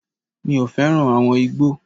Mi ò fẹ́ràn àwọn igbó.